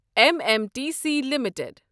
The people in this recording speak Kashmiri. M M T C limited